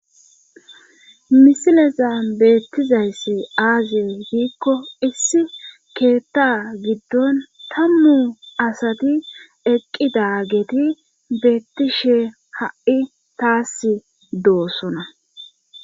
Misileza beettizayssi aaziye hiikko issi keetta giddon tammu asati eqqida geeti beettishe ha7i taas doossona